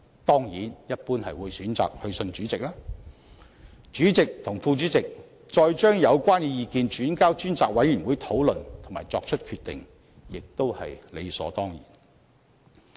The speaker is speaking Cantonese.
當然，一般都是會選擇致函主席，再由主席和副主席把有關意見轉交專責委員會討論及決定，也是理所當然的。